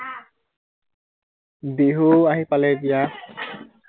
বিহু আহি পালে এতিয়া